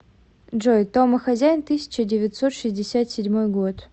джой том и хозяин тысяча девятьсот шестьдесят седьмой год